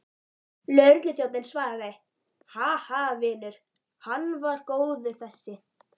Lögregluþjónninn svaraði, Ha, ha, vinur, hann var góður þessi.